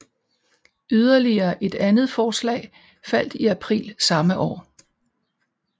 Yderligere et andet forslag faldt i april samme år